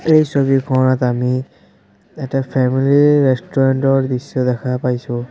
এই ছবিখনত আমি এটা ফেমিলি ৰেষ্টুৰেন্ট ৰ দৃশ্য দেখা পাইছোঁ।